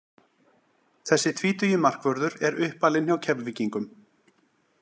Þessi tvítugi markvörður er uppalinn hjá Keflvíkingum.